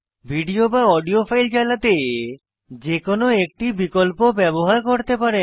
video বা audio file চালাতে যে কোনো একটি বিকল্প ব্যবহার করতে পারেন